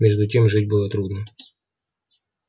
между тем жить было трудно